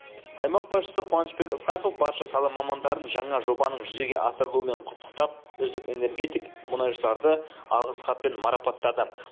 аймақ басшысы қуанышбек ысқақов барша сала мамандарын жаңа жобаның жүзеге асырылуымен құттықтап үздік энергетик мұнайшыларды алғыс хатпен марапаттады